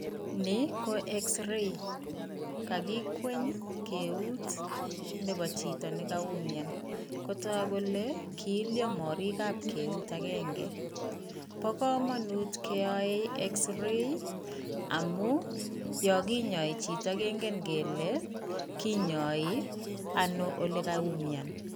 Ni ko x-ray kakikweny keut nebo chito ne kaumian, kotok kole kiilyo morikab keut akenge, bo kamanut keyoei x- ray ii, amu yo kinyoi chito kingen kele, kinyoi ano ole kaumian.